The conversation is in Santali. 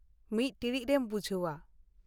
ᱢᱤᱫ ᱴᱤᱬᱤᱡ ᱨᱮᱢ ᱵᱩᱡᱷᱟᱹᱣ-ᱟ ᱾